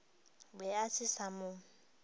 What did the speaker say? be a se sa mo